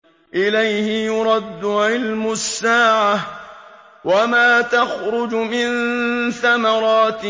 ۞ إِلَيْهِ يُرَدُّ عِلْمُ السَّاعَةِ ۚ وَمَا تَخْرُجُ مِن ثَمَرَاتٍ